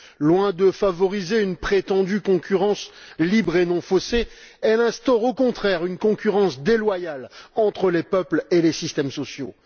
Loin de favoriser une prétendue concurrence libre et non faussée, elle instaure, au contraire, une concurrence déloyale entre les peuples et les systèmes sociaux.